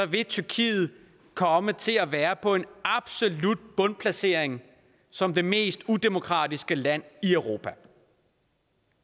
vil tyrkiet komme til at være på en absolut bundplacering som det mest udemokratiske land i europa det